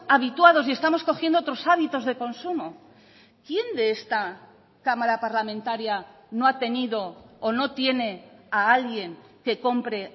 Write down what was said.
habituados y estamos cogiendo otros hábitos de consumo quién de esta cámara parlamentaria no ha tenido o no tiene a alguien que compre